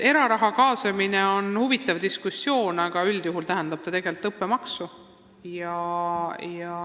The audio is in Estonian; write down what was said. Eraraha kaasamine on huvitav diskussiooniteema, aga üldjuhul tähendab see tegelikult õppemaksu.